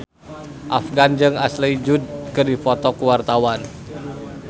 Afgan jeung Ashley Judd keur dipoto ku wartawan